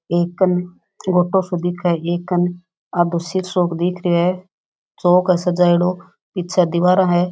एकन छोटो सो दिखे एकन आधो शिशो दिख रेहो है सजाइडो पीछे दीवारा है।